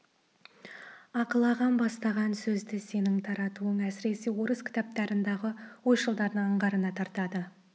ақыл ағам бастаған сөзді сенің таратуың әсіресе орыс кітаптарындағы ойшылдардың аңғарына тартады